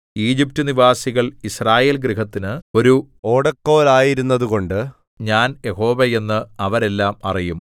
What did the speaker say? ഈജിപ്റ്റ്നിവാസികൾ യിസ്രായേൽഗൃഹത്തിന് ഒരു ഓടക്കോലായിരുന്നതുകൊണ്ട് ഞാൻ യഹോവ എന്ന് അവരെല്ലം അറിയും